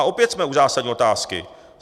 A opět jsme u zásadní otázky.